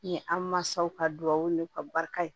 Ni an mansaw ka duwawu ni ka barika ye